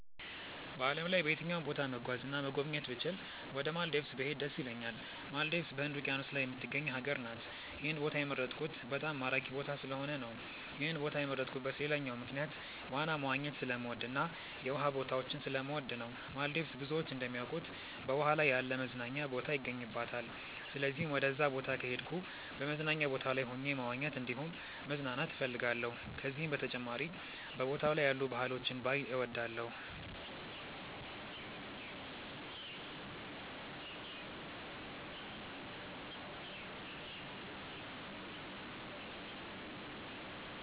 በዓለም ላይ በየትኛውም ቦታ መጓዝ እና መጎብኘት ብችል ወደ ማልዲቭስ ብሄድ ደስ ይለኛል። ማልዲቭስ በህንድ ውቂያኖስ ላይ የምትገኝ ሀገር ናት። ይህን ቦታ የመረጥኩት በጣም ማራኪ ቦታ ስለሆነ ነው። ይህን ቦታ የመረጥኩበት ሌላኛው ምክንያት ዋና መዋኘት ስለምወድ እና የውሃ ቦታዎችን ስለምወድ ነው። ማልዲቭስ ብዙዎች እንደሚያውቁት በውሃ ላይ ያለ መዝናኛ ቦታ ይገኝባታል። ስለዚህም ወደዛ ቦታ ከሄድኩ በመዝናኛ ቦታው ላይ ሆኜ መዋኘት እንዲሁም መዝናናት እፈልጋለሁ። ከዚህም በተጨማሪ በቦታው ላይ ያሉ ባህሎችን ባይ እወዳለሁ።